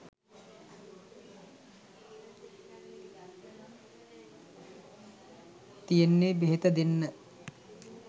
තියෙන්නෙ බෙහෙත දෙන්න.